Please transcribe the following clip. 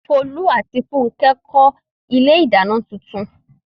Folú àti Fúnkẹ́ kọ́ ilé-ìdáná tuntun.